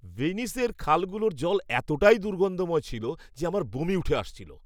ভেনিসের খালগুলোর জল এতটাই দুর্গন্ধময় ছিল যে আমার বমি উঠে আসছিল।